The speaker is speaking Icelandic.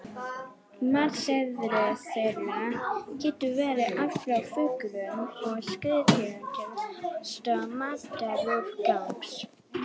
Á matseðli þeirra getur verið allt frá fuglum og skriðdýrum til ávaxta og matarúrgangs.